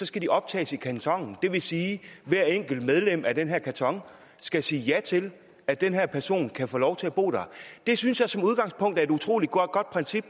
skal de optages i kantonen det vil sige at hver enkelt medlem af den her kanton skal sige ja til at den her person kan få lov til at bo der det synes jeg som udgangspunkt er et utrolig godt princip